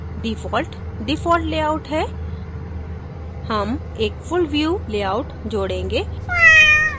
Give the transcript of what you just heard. default default layout है हम एक full view लेआउट जोडेंगे